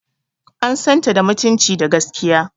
An san ta da mutunci da gaskiya.